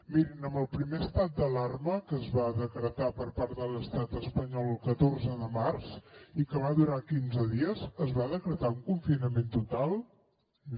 mirin amb el primer estat d’alarma que es va decretar per part de l’estat espanyol el catorze de març i que va durar quinze dies es va decretar el confinament total no